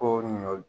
Ko ɲɔ